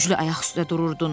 Güclə ayaq üstə dururdun.